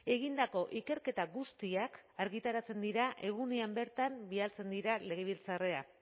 egindako ikerketa guztiak argitaratzen dira egunean bertan bidaltzen dira legebiltzarrera